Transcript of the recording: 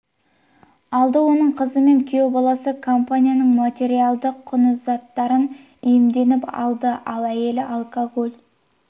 алды оның қызы мен күйеу баласы компаниямның материалдық құнды заттарын иемденіп алды ал әйелі алкоголь